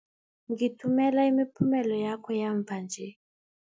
Ngithumela imiphumela yakho yamva nje.